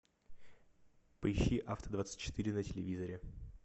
поищи авто двадцать четыре на телевизоре